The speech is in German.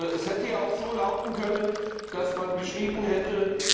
Es hätte ja auch so lauten können, dass man geschrieben hätte